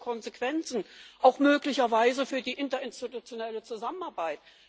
Was hat das für Konsequenzen, auch möglicherweise für die interinstitutionelle Zusammenarbeit?